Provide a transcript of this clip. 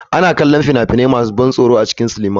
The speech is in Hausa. Ana kallon fina-finai masu ban tsoro da yawa a cikin sinima.